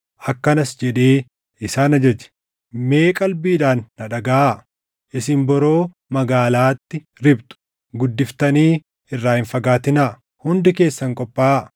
akkanas jedhee isaan ajaje: “Mee qalbiidhaan na dhagaʼaa. Isin boroo magaalaatti riphxu. Guddiftanii irraa hin fagaatinaa. Hundi keessan qophaaʼaa.